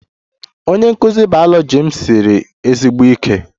Onye nkụzi biology m siri ezigbo ike